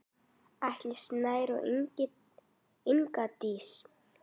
Atli Snær og Inga Dís.